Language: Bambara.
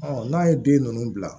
n'a ye den ninnu bila